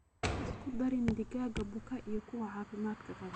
Ha isku darin digaag buka iyo kuwa caafimaad qaba.